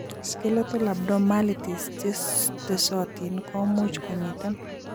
Skeletal abnormalities chetesotin komuch komiten